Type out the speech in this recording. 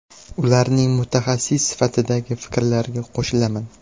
Ularning mutaxassis sifatidagi fikrlariga qo‘shilaman.